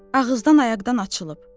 Ağızdan ayaqdan açılıb.